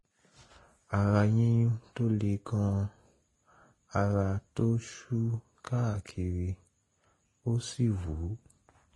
ara yíyún tó le gan-an ara tó ṣú káàkiri ó sì wú